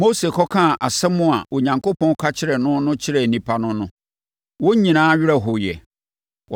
Mose kɔkaa nsɛm a Onyankopɔn ka kyerɛɛ no no kyerɛɛ nnipa no no, wɔn nyinaa werɛ hoeɛ.